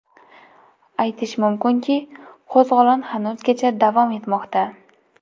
Aytish mumkinki, qo‘zg‘olon hanuzgacha davom etmoqda.